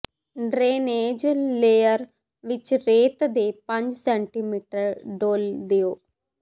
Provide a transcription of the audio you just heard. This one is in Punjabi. ਡਰੇਨੇਜ ਲੇਅਰ ਵਿੱਚ ਰੇਤ ਦੇ ਪੰਜ ਸੈਟੀਮੀਟਰ ਡੋਲ੍ਹ ਦਿਓ